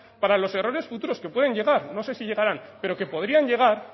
para los errores futuros que pueden llegar no sé si llegarán pero que podrían llegar